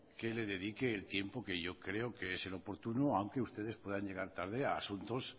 que le dedique el tiempo que yo creo que es el oportuno aunque ustedes puedan llegar tarde a asuntos